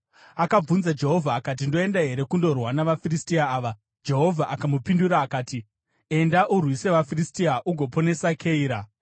akabvunza Jehovha akati, “Ndoenda here kundorwa navaFiristia ava?” Jehovha akamupindura akati, “Enda, urwise vaFiristia ugoponesa Keira.”